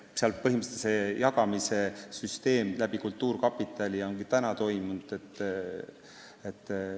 Põhimõtteliselt on see jagamise süsteem kultuurkapitali kaudu ka seni toiminud.